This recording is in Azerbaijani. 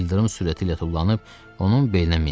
İldırım sürəti ilə tullanıb, onun belinə mindi.